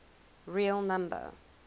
real number